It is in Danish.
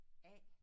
Af